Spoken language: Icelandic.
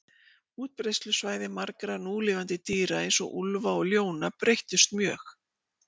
Útbreiðslusvæði margra núlifandi dýra, eins og úlfa og ljóna, breyttust mjög.